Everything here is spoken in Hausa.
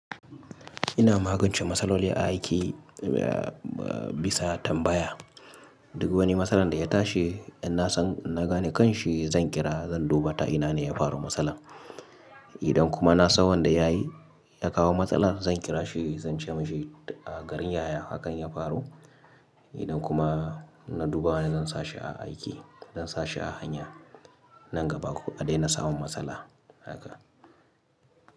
Ina magance matsaloli a aiki bisa tambaya. Duk wani matsalar da ya tashi in na san, na gane kanshi zan kira zan duba ta ina ne ya faru matsalar. Idan kuma na san wanda ya yi, ya kawo matsalar zan kira shi zan ce masa a garin yaya hakan ya faru. Idan kuma na duba zan sa shi a aiki, zan sa shi a hanya nan gaba a daina samun matsala haka.